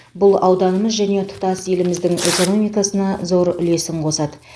бұл ауданымыз және тұтас еліміздің экономикасына зор үлесін қосады